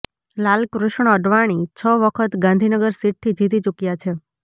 લાલકૃષ્ણ અડવાણી છ વખત ગાંધીનગર સીટથી જીતી ચુક્યા છે